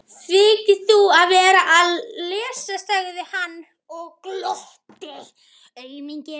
Þykist þú vera að lesa, sagði hann og glotti.